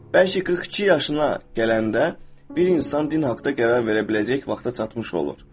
Bəlkə 42 yaşına gələndə bir insan din haqqında qərar verə biləcək vaxta çatmış olur.